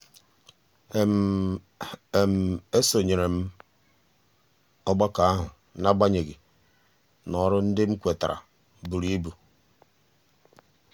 m sonyere ọgbakọ ahụ n'agbanyeghị na ọrụ ndị m kwetara buru ibu.